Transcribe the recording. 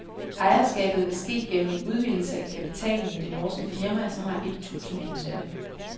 Ejerskabet vil ske gennem en udvidelse af kapitalen i det norske firma, som har et tusind ansatte.